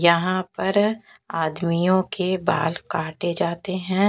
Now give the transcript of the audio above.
यहाँ पर आदमियों के बाल काटे जाते हैं।